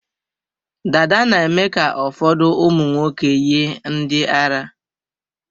Dada na-eme ka ụfọdụ ụmụnwoke yie ndị ara.